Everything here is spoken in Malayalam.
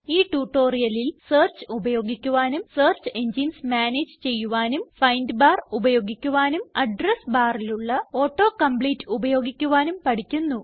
ഈ tutorialല് സെർച്ച് ഉപയോഗിക്കുവാനും സെർച്ച് എൻജിനെസ് മാനേജ് ചെയ്യുവാനും ഫൈൻഡ് ബാർ ഉപയോഗിക്കുവാനും അഡ്രസ് barലുള്ള auto കോംപ്ലീറ്റ് ഉപയോഗിക്കുവാനും പഠിക്കുന്നു